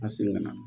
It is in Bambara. A segin na